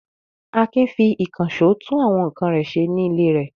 Akin fi ìkànṣó tún àwọn nǹkan ṣe nílé rẹ̀.